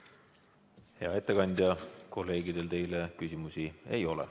Hea ettekandja, kolleegidel teile küsimusi ei ole.